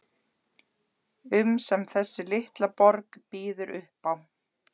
um sem þessi litla borg býður upp á.